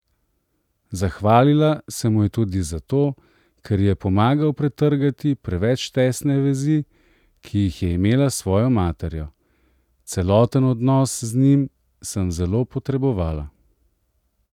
Zahvalila se mu je tudi za to, ker ji je pomagal pretrgati preveč tesne vezi, ki jih je imela s svojo materjo: 'Celoten odnos z njim sem zelo potrebovala.